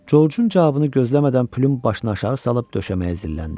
Coçun cavabını gözləmədən Püm başını aşağı salıb döşəməyə zilləndi.